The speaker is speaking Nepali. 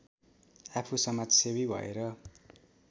आफू समाजसेवी भएर